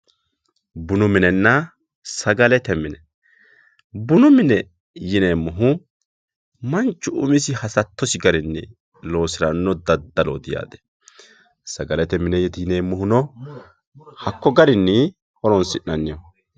Bunu minena sagalete mine bunu mine yineemohu manchu umisi hasatosi garini loosirano dadaloti yaate sagalete minet yinemohuno hakko garini horonsinaniho.